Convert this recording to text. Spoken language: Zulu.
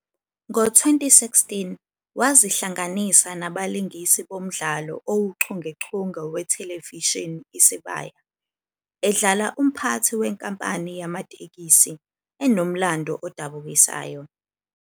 Ngo-2016, wazihlanganisa nabalingisi bomdlalo owuchungechunge wethelevishini Isibaya, edlala umphathi wenkampani yamatekisi "enomlando odabukisayo."